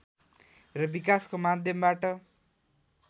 र विकासको माध्यमबाट